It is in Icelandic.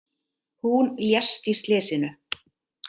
Hún lést í slysinu